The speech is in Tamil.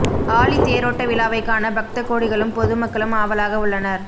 ஆழித் தேரோட்ட விழாவைக் காண பக்த கோடிகளும் பொது மக்களும் ஆவலாக உள்ளனர்